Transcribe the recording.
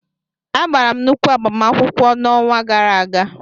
Agara m nnukwu agbamakwụkwọ n'ọnwa gara aga.